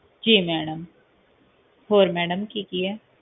ਜੀ ਮੈਡਮ ਹੋਰ ਮੈਡਮ ਕੀ ਕੀ ਏ